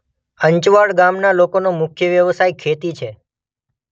અંચવાડ ગામના લોકોનો મુખ્ય વ્યવસાય ખેતી છે.